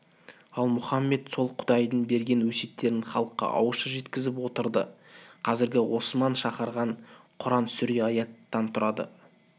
ал мұхаммед сол құдайдың берген өсиеттерін халыққа ауызша жеткізіп отырды қазіргі осман шығарған құран сүре аяттан түрады